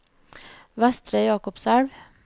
Vestre Jakobselv